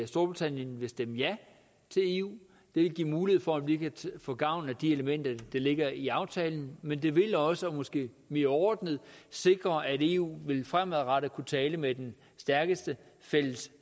storbritannien vil stemme ja til eu det vil give mulighed for at vi kan få gavn af de elementer der ligger i aftalen men det vil også og måske mere overordnet sikre at eu fremadrettet vil kunne tale med den stærkeste fælles